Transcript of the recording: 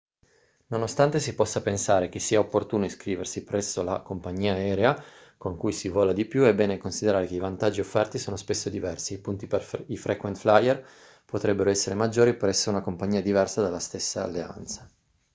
nonostante si possa pensare che sia opportuno iscriversi presso la compagnia aerea con cui si vola di più è bene considerare che i vantaggi offerti sono spesso diversi e i punti per i frequent flyer potrebbero essere maggiori presso una compagnia diversa della stessa alleanza